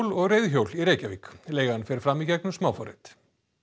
og reiðhjól í Reykjavík leigan fer fram í gegnum smáforrit